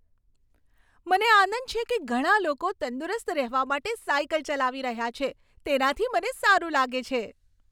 મને આનંદ છે કે ઘણા લોકો તંદુરસ્ત રહેવા માટે સાઈકલ ચલાવી રહ્યા છે. તેનાથી મને સારું લાગે છે.